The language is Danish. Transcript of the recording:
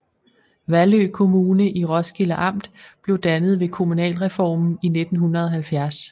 Vallø Kommune i Roskilde Amt blev dannet ved kommunalreformen i 1970